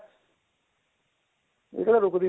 ਇਹ ਕਿਹੜਾ ਰੁਕਦੀ ਹੁੰਦੀ